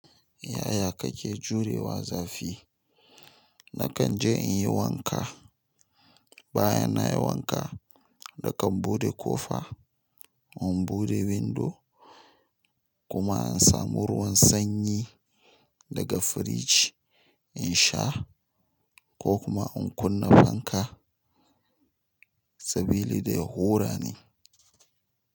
Yaya kake jurewa zafi? Nakan je in yi wanka. Bayan nayi wanka, nakan bude kofa, in bude windo kuma in samu ruwan sanyi daga firiji, in sha ko kuma in kunna fanka sabili da ya hura ne.